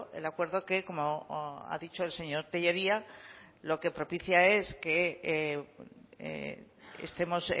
el acuerdo que como ha dicho el señor tellería lo que propicia es que estemos